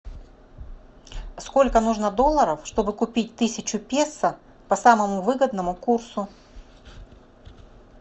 сколько нужно долларов что бы купить тысячу песо по самому выгодному курсу